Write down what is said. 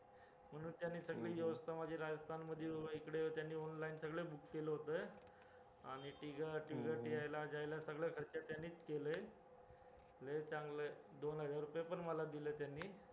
म्हणून त्यांनी सगळी व्यवस्था माझी इथे राजस्थान मध्ये इकडे त्यांनी online सगळं book केलं होतं आणि सगळा खर्च त्यांनीच केलाय लय चांगला आहे, दोन हजार रुपये पण मला दिले त्यांनी